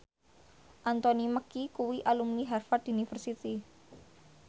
Anthony Mackie kuwi alumni Harvard university